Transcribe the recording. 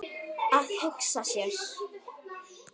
Að hugsa sér.